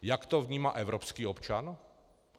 Jak to vnímá evropský občan?